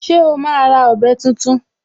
Ṣé o máa ra ọ̀bẹ tuntun?